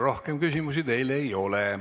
Rohkem küsimusi teile ei ole.